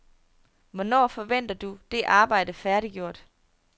Hvornår forventer du det arbejde færdiggjort?